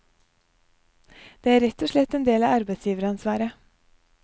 Det er rett og slett en del av arbeidsgiveransvaret.